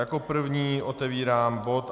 Jako první otevírám bod